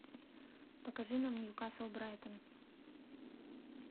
покажи нам ньюкасл брайтон